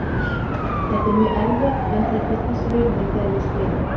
Þetta er mjög erfitt en þetta er þess virði þegar ég spila.